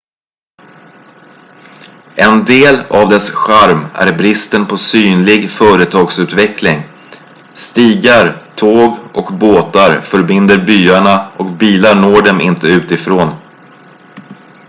en del av dess charm är bristen på synlig företagsutveckling stigar tåg och båtar förbinder byarna och bilar når dem inte utifrån